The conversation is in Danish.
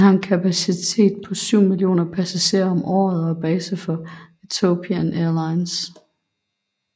Den har en kapacitet på 7 mio passagerer om året og er base for Ethiopian Airlines